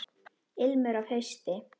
Ilmur af hausti!